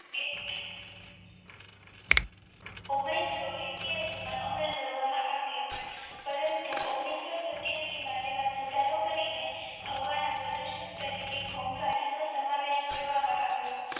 ઓગ્નીશો એકીયાશી મા અમલમાં કરવામાં આવ્યો પરંતુ ઓગ્નીશો સતીયાશી માં તેમાં સુધારો કરીને હવાના પ્રદૂષક તરીકે ઘોંઘાટનો સમાવેશ કરવામાં આવ્યો